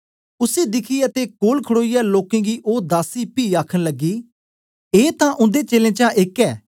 उसी दिखियै ते कोल खडोईयै लोकें गी ओ दासी पी आखन लगी ए तां उन्दे चेलें चा एक ए